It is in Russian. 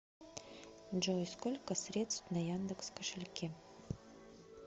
джой сколько средств на яндекс кошельке